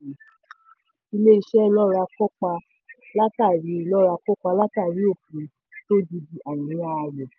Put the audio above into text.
ilé-iṣẹ́ lọ́ra kópa látàrí lọ́ra kópa látàrí òfin tó gidi àìní ààyò.